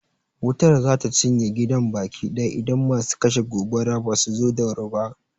Wutar za ta cinye gidan baki ɗaya idan masu kashe gobara ba su zo da wuri ba.